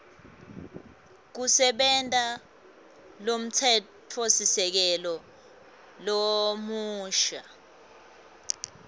kusebenta lomtsetfosisekelo lomusha